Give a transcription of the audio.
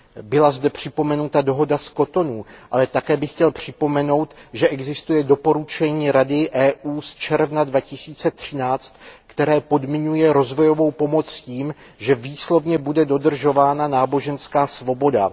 Byla zde připomenuta dohoda z Cotonou, ale také bych chtěl připomenout, že existuje doporučení Rady Evropské unie z června 2013, které podmiňuje rozvojovou pomoc tím, že výslovně bude dodržována náboženská svoboda.